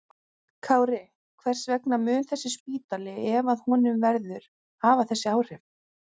Kári, hvers vegna mun þessi spítali, ef af honum verður, hafa þessi áhrif?